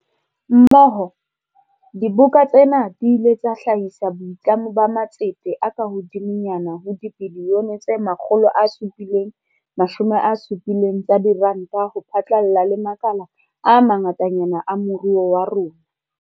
Mmoho, diboka tsena di ile tsa hlahisa boitlamo ba matsete a kahodimonyana ho dibilione tse 770 tsa diranta ho phatlalla le makala a ma ngatanyana a moruo wa rona.